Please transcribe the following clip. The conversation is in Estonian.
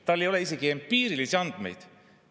Tal ei ole isegi empiirilisi andmeid.